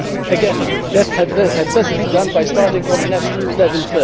Again, that is best done by starting from a national level.